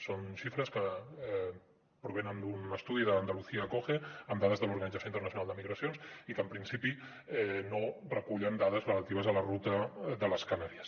són xifres que provenen d’un estudi d’andalucía acoge amb dades de l’organització internacional per a les migracions i que en principi no recullen dades relatives a la ruta de les canàries